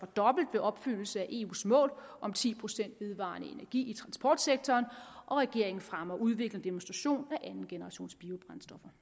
dobbelt ved opfyldelse af eus mål om ti procent vedvarende energi i transportsektoren og regeringen fremmer udvikling og demonstration af andengenerationsbiobrændstoffer